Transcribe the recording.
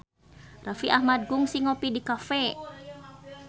Raffi Ahmad kungsi ngopi di cafe